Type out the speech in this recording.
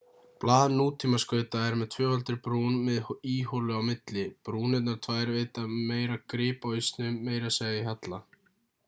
blað nútímaskauta er með tvöfaldri brún með íholu á milli brúnirnar tvær veita meira grip á ísnum meira segja í halla